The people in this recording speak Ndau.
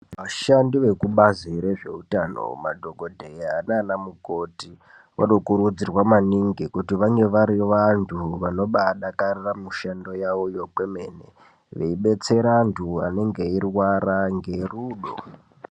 Vashandi vekubazi rezveutano madhokodheya nanamukoti vanokurudzirwa maningi kuti vange vari vantu vanobadakarira mushando yavo kwemene veibetsere antu anenge eirwara ngerudo.